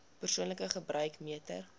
persoonlike gebruik meter